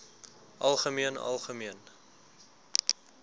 algemeen algemeen